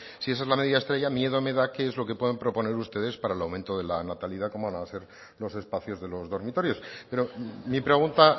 si esa es la medida estrella miedo me da qué es lo que puedan proponer ustedes para el aumento de la natalidad cómo van a ser los espacios de los dormitorios pero mi pregunta